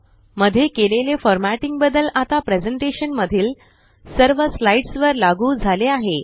मध्ये केलेले फॉरमॅटिंग बदल आता प्रेज़ेंटेशन मधील सर्व स्लाइड्स वर लागू झाले आहे